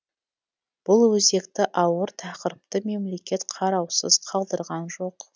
бұл өзекті ауыр тақырыпты мемлекет қараусыз қалдырған жоқ